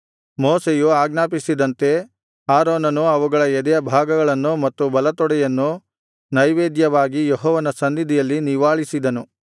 ಮೋಶೆಯು ಆಜ್ಞಾಪಿಸಿದಂತೆ ಆರೋನನು ಅವುಗಳ ಎದೆಯ ಭಾಗಗಳನ್ನು ಮತ್ತು ಬಲತೊಡೆಯನ್ನು ನೈವೇದ್ಯವಾಗಿ ಯೆಹೋವನ ಸನ್ನಿಧಿಯಲ್ಲಿ ನಿವಾಳಿಸಿದನು